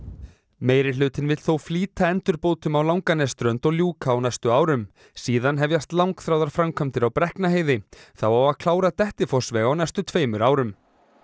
meirihlutinn vill þó flýta endurbótum á Langanesströnd og ljúka á næstu árum síðan hefjast langþráðar framkvæmdir á Brekknaheiði þá á að klára Dettifossveg á næstu tveimur árum